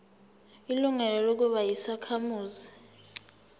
ilungelo lokuba yisakhamuzi